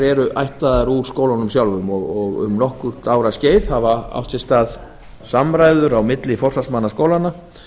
eru ættaðar úr skólunum sjálfum um nokkurra ára skeið hafa átt sér stað samræður á milli forsvarsmanna skólanna